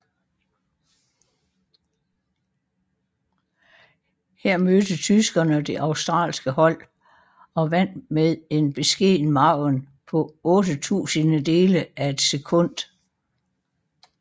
Her mødte tyskerne det australske hold og vandt med en beskeden margen på otte tusindedele af et sekund